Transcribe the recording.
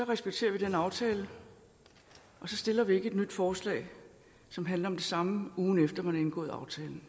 respekterer vi den aftale og så stiller vi ikke et nyt forslag som handler om det samme ugen efter at man har indgået aftalen